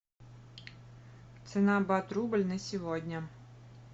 цена бат рубль на сегодня